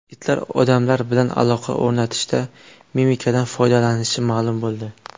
Itlar odamlar bilan aloqa o‘rnatishda mimikadan foydalanishi ma’lum bo‘ldi.